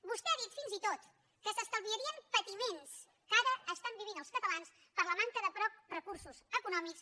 vostè ha dit fins i tot que s’estalviarien patiments que ara estan vivint els catalans per la manca de prou recursos econòmics